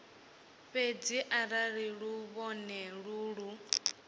fhedzi arali luvhone lu lu